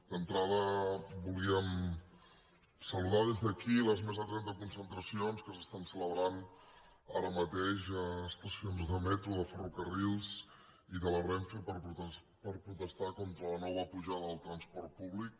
d’entrada volíem saludar des d’aquí les més de trenta concentracions que s’estan celebrant ara mateix a estacions de metro de ferrocarrils i de la renfe per protestar contra la nova pujada del transport públic